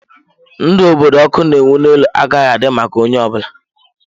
Ndụ obodo ọkụ na-enwu n'elu agaghị adị maka onye ọ bụla.